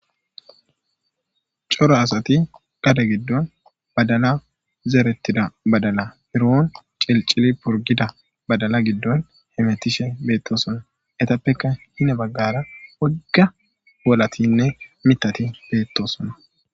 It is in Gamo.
Cora asathi gade giddon badalaa zereththida badalaa biroon cilccili purggida badala giddon hemeththishe beeththoosona; ethappeka hine baggaara wogga wolaththinne miththathi beeththoosona.